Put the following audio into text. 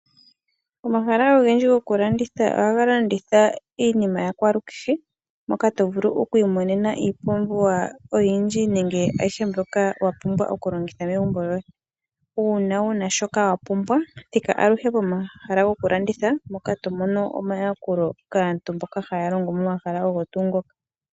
Omahala ogendji gokulanditha, ohaga landitha iinima yakwalukehe, moka tovulu okwiimonena iipumbiwa oyindji, nenge ayishe mbyoka wapumbwa okulongitha megumbo lyoye. Uuna wuna shoka wapumbwa, thika aluhe pomahala gokulanditha, moka tomono omayakulo kaantu mboka haya longo momahala ogo tuu ngoka.